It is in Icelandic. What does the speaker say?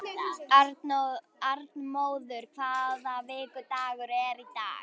Arnmóður, hvaða vikudagur er í dag?